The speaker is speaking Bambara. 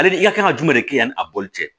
Ale i ka kan ka jumɛn de kɛ yani a boli cɛ